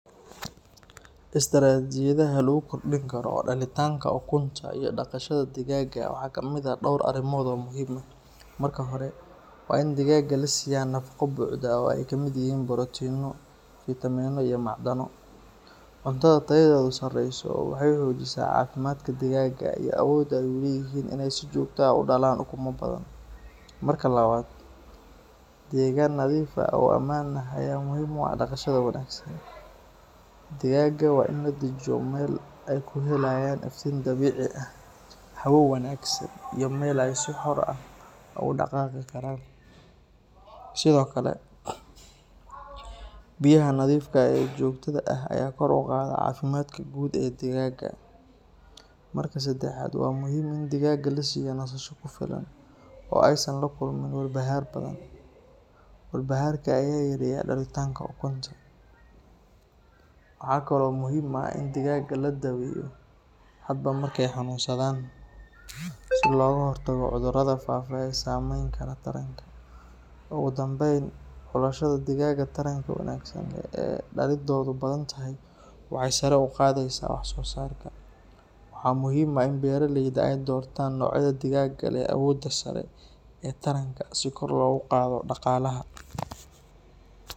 Istiraatiijiyadaha lagu kordhin karo dhalitaanka ukunta iyo dhaqashada digaagga waxaa ka mid ah dhowr arrimood oo muhiim ah. Marka hore, waa in digaagga la siiyaa nafaqo buuxda oo ay ka mid yihiin borotiinno, fiitamiinno, iyo macdano. Cuntada tayadeedu sarreyso waxay xoojisaa caafimaadka digaagga iyo awoodda ay u leeyihiin in ay si joogto ah u dhalaan ukumo badan. Marka labaad, deegaan nadiif ah oo ammaan ah ayaa muhiim u ah dhaqashada wanaagsan. Digaagga waa in la dejiyo meel ay ku helayaan iftiin dabiici ah, hawo wanaagsan, iyo meel ay si xor ah ugu dhaqaaqi karaan. Sidoo kale, biyaha nadiifka ah ee joogtada ah ayaa kor u qaada caafimaadka guud ee digaagga. Marka saddexaad, waa muhiim in digaagga la siiyo nasasho ku filan oo aysan la kulmin walbahaar badan. Walbahaarka ayaa yareeya dhalitaanka ukunta. Waxaa kaloo muhiim ah in digaagga la daweeyo hadba marka ay xanuunsadaan si looga hortago cudurrada faafa ee saamayn kara taranka. Ugu dambayn, xulashada digaagga taranka wanaagsan leh ee dhalidoodu badan tahay waxay sare u qaadaysaa wax-soosaarka. Waxaa muhiim ah in beeralayda ay doortaan noocyada digaagga leh awoodda sare ee taranka si kor loogu qaado dhaqaalaha.